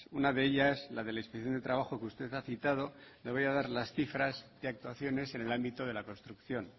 una de ellas la de la inspección de trabajo que usted ha citado le voy a dar las cifras de actuaciones en el ámbito de la construcción